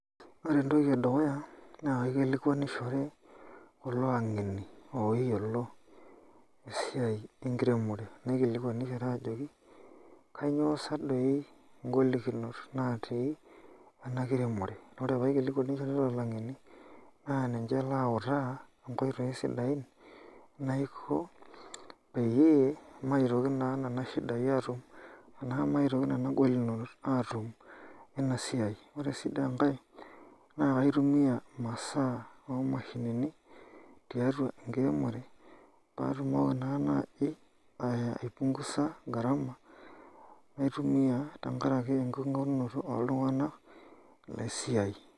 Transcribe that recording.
Ore entoki edukuya na kaikilikuanishore tolangeni oyiolo esiai enkiremore, naikilikuanishore ajoki kanyio sa doi ngolikinot natii enakiremore ,orepaikilikuanishore tolangeni naninche lauta nkoitoi sidain naiko peyie maitoki na nona shidai atumanaa amitoki na nona golikinot atum wenasiai, ore si enkae naitumia imasaa omashinini tiatua enkiremore patumoki naa nai aipungusa garama ore ake enkingorunoto oltunganak laisiai.